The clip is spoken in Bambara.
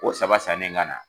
O saba sannen ka na